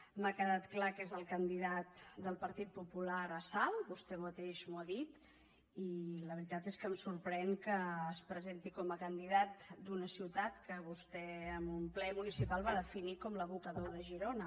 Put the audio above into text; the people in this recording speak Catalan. m’ha quedat clar que és el candidat del partit popular a salt vostè mateix m’ho ha dit i la veritat és que em sorprèn que es presenti com a candidat d’una ciutat que vostè en un ple municipal va definir com l’abocador de girona